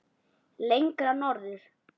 Lengra norður.